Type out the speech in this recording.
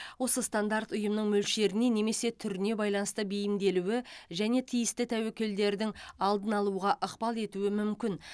осы стандарт ұйымның мөлшеріне немесе түріне байланысты бейімделуі және тиісті тәуекелдердің алдын алуға ықпал етуі мүмкін